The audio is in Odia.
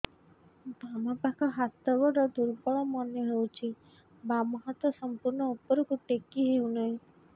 ବାମ ପାଖ ହାତ ଗୋଡ ଦୁର୍ବଳ ମନେ ହଉଛି ବାମ ହାତ ସମ୍ପୂର୍ଣ ଉପରକୁ ଟେକି ହଉ ନାହିଁ